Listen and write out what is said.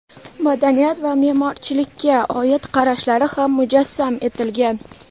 madaniyat va me’morchilikka oid qarashlari ham mujassam etilgan.